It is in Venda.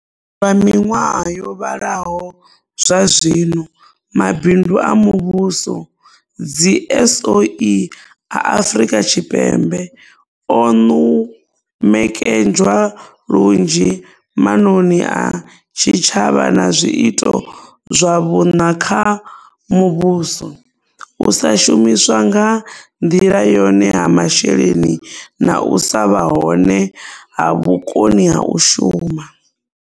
Lwa miṅwaha yo vhalaho zwazwino, Mabindu a Muvhuso dziSOE a Afrika Tshipembe o ṅumekanywa lunzhi maṅoni a tshitshavha na zwiito zwa vhuṋa kha muvhuso, u sa shumiswa nga nḓila yone ha masheleni na u sa vha hone ha vhukoni ha u shuma.